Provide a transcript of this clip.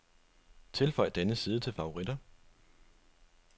Tilføj denne side til favoritter.